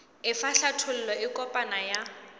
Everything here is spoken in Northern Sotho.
efa hlathollo e kopana ya